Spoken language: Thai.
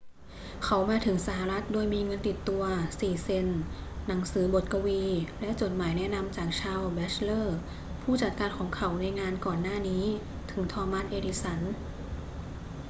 เขามาถึงสหรัฐฯ โดยมีเงินติดตัว 4 เซ็นต์ หนังสือบทกวี และจดหมายแนะนำจาก ชาลส์ แบ็ตชเลอร์ ผู้จัดการของเขาในงานก่อนหน้านี้ ถึง ทอมัส เอดิสัน